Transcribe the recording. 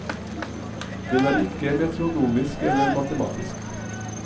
Den er ikke metronomisk eller matematisk.